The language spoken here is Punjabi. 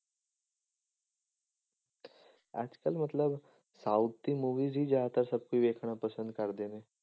ਅੱਜ ਕੱਲ੍ਹ ਮਤਲਬ south ਦੀ movies ਹੀ ਜ਼ਿਆਦਾਤਰ ਸਭ ਕੋਈ ਵੇਖਣਾ ਪਸੰਦ ਕਰਦੇ ਨੇ।